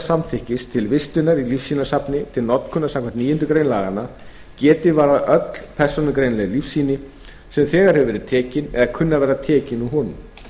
samþykkis til vistunar í lífsýnasafni til notkunar samkvæmt níundu grein laganna geti varðað öll persónugreinanleg lífsýni sem þegar hafi verið tekin eða kunni að verða tekin úr honum